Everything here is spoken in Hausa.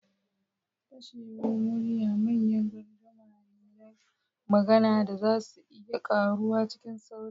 Fashewar murya manyan gardama ne na magana da za su iya karuwa cikin sauri.